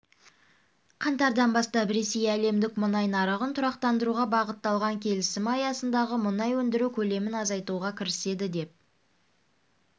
қаңтардан бастап ресей әлемдік мұнай нарығын тұрақтандыруға бағытталған келісімі аясындағы мұнай өндіру көлемін азайтуға кіріседі деп